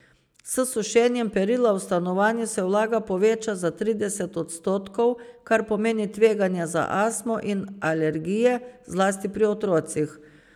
S sušenjem perila v stanovanju se vlaga poveča za trideset odstotkov, kar pomeni tveganje za astmo in alergije, zlasti pri otrocih.